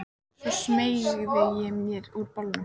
Svo smeygði ég mér úr bolnum.